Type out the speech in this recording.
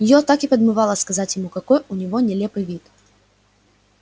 её так и подмывало сказать ему какой у него нелепый вид